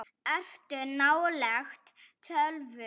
Ertu nálægt tölvu?